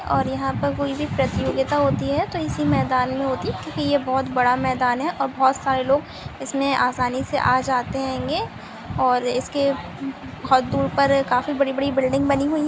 और यहा पर कोई भी प्रतियोगिता होती है तो इसी मैदान मे होती है क्योकि यह बहुत बड़ा मैदान है और बहुत सारे लोग इसमे आसानी से आ जाते होंगे और इसके खातूर पर काफी बड़ी बड़ी बिल्डिंग बनी हुई--